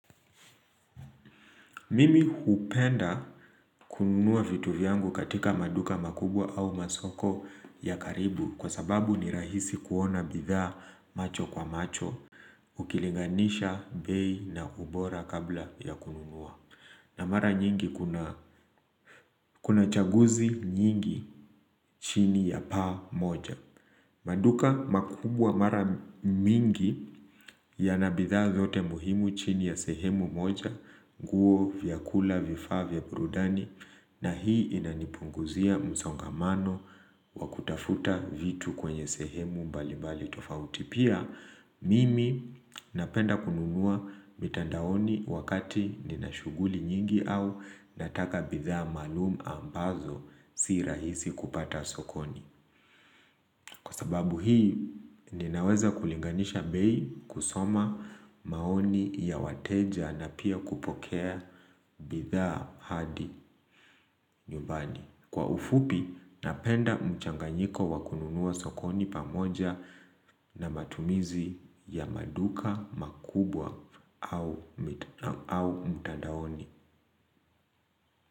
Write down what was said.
Mimi hupenda kununua vitu vyangu katika maduka makubwa au masoko ya karibu kwa sababu ni rahisi kuona bidhaa macho kwa macho ukilinganisha bei na ubora kabla ya kununua. Na mara nyingi kuna kuna chaguzi nyingi chini ya pamoja. Maduka makubwa mara mingi yana bidhaa zote muhimu chini ya sehemu moja, nguo, vyakula, vifaa, vya burudani, na hii inanipunguzia msongamano wa kutafuta vitu kwenye sehemu mbalimbali tofauti pia, mimi napenda kununua mitandaoni wakati ninashuhguli nyingi au nataka bidhaa maalum ambazo si rahisi kupata sokoni. Kwa sababu hii, ninaweza kulinganisha bei kusoma maoni ya wateja na pia kupokea bidhaa hadi nyumbani. Kwa ufupi, napenda mchanganyiko wakununua sokoni pamoja na matumizi ya maduka makubwa au mtandaoni.